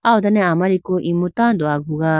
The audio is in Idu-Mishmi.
aw dane amariku imu tando aguga.